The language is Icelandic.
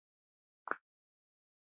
Þau réðu.